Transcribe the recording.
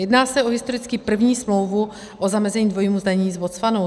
Jedná se o historicky první smlouvu o zamezení dvojímu zdanění s Botswanou.